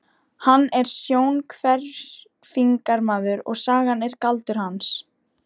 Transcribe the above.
Hann er sjónhverfingamaður og sagan er galdur hans.